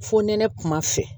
Fo nɛnɛ kuma fɛ